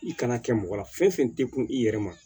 I kana kɛ mɔgɔ la fɛn fɛn tɛ kun i yɛrɛ ma